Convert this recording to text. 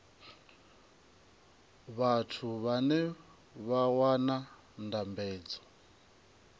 vhathu vhane vha wana ndambedzo